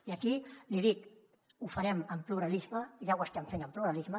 i aquí l’hi dic ho farem amb pluralisme ja ho estem fent amb pluralisme